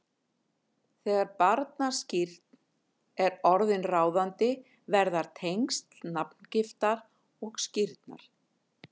Þegar barnaskírn er orðin ráðandi verða tengsl nafngiftar og skírnar